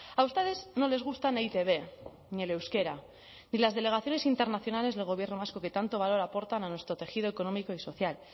a ustedes no les gustan e i te be ni el euskera ni las delegaciones internacionales del gobierno vasco que tanto valor aportan a nuestro tejido económico y social